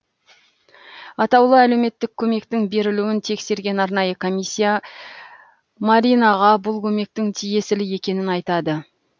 атаулы әлеуметтік көмектің берілуін тексерген арнайы комиссия маринаға бұл көмектің тиесілі екенін айтады